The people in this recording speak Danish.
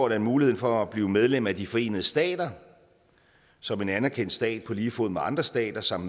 at muligheden for at blive medlem af de forenede stater som en anerkendt stat på lige fod med andre stater samt